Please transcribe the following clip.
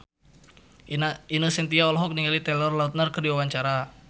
Ine Shintya olohok ningali Taylor Lautner keur diwawancara